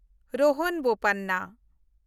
ᱨᱳᱦᱟᱱ ᱵᱳᱯᱟᱱᱱᱟ